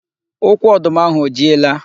Ukwu ọdụ m ahụ o jiela?